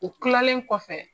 U kilalen kɔfɛ.